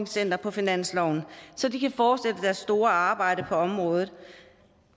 center på finansloven så de kan fortsætte deres store arbejde på området